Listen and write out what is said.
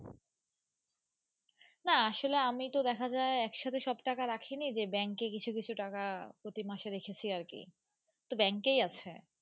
না আসলে আমি তো দেখা যাই একসাথে সব টাকা রাখি নি যে Bank এ কিছু কিছু টাকা প্রতি মাসে রেখেছি আর কি Bank এ আছে।